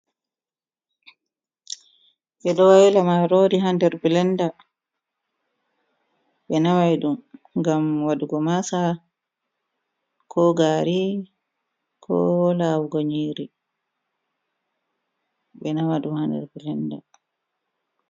Ɓeɗo waila marori ha nder bilenda, be namai ɗum ngam wadugo masa ko gari ko lawugo nyiri. Ɓe nama ɗum ha nder bilenda.